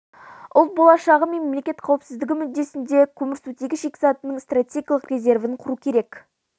ұлт болашағы мен мемлекет қауіпсіздігі мүддесінде көмірсутегі шикізатының стратегиялық резервін құру керек